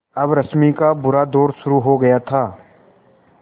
अब रश्मि का बुरा दौर शुरू हो गया था